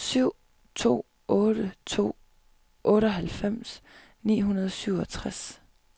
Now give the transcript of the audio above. syv to otte to otteoghalvfems ni hundrede og syvogtres